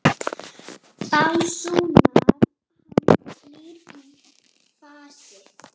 básúnar hann, hlýr í fasi.